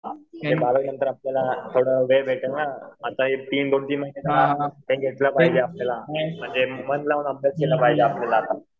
बारावी नंतर आपल्याला थोड़ा वेळ भेटेल ना. आता म्हणजे मन लावून अभ्यास केलं पाहिजे आपल्याला.